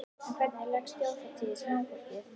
En hvernig leggst þjóðhátíðin í smáfólkið?